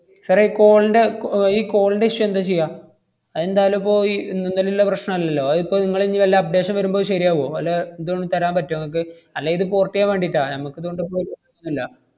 sir ഏ ഈ call ന്‍റെ കോ~ ഈ call ന്‍റെ issue എന്താ ചെയ്യാ? അതെന്തായാലും ഇപ്പൊ ഇ~ ഇന്നും ഇന്നലെലുല്ല പ്രശ്നം അല്ലല്ലോ. അതിപ്പം നിങ്ങള് ഇഞ്ഞി വല്ല updation വരുമ്പോ ഇയ് ശെരിയാവുവോ? വല്ല ദും തരാൻ പറ്റുവോ ~ങ്ങക്ക്? അല്ലേ ഇത് port ചെയ്യാൻ വേണ്ടിട്ടാ. ഞമ്മക്കിതുകൊണ്ട് ഇപ്പൊരു ഇല്ല.